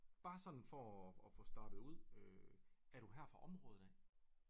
Bare sådan for og få startet ud øh er du her fra området af?